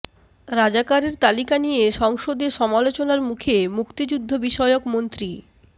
রাজাকারের তালিকা নিয়ে সংসদে সমালোচনার মুখে মুক্তিযুদ্ধ বিষয়ক মন্ত্রী